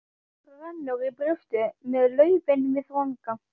Mér rennur í brjóst með laufin við vanga.